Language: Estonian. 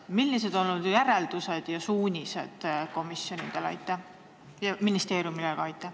Millised on olnud teie järeldused ja suunised komisjonidele ja ministeeriumidele?